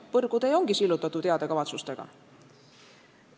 Põrgutee ju on sillutatud heade kavatsustega.